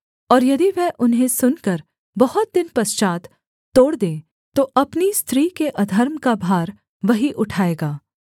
और यदि वह उन्हें सुनकर बहुत दिन पश्चात् तोड़ दे तो अपनी स्त्री के अधर्म का भार वही उठाएगा